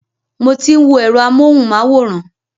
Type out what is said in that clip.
Mo ti ń wo ẹ̀rọ amúhùnmáwòrán.